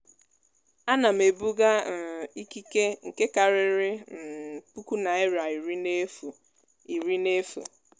a na m ebuga um ìkíke nke kariri um puku naira irí n'efu. irí n'efu.